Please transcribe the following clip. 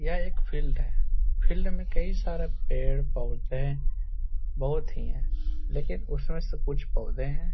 यह एक फील्ड है। फील्ड में कई सारे पेड़-पौधे बोहोत ही है लेकिन उसमें से कुछ पौधे हैं --